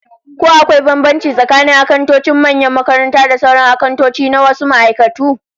Ko akwai bambanci tsakanin akantocin manyan makarantu da sauran akantoci na wasu ma'aikatu?